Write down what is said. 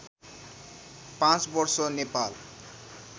पाँच वर्ष नेपाल